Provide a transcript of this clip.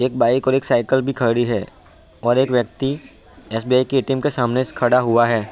एक बाइक और एक साइकिल भी खड़ी है और एक व्यक्ति एस.बी.आई. के ए.टी.एम. के सामने खड़ा हुआ है।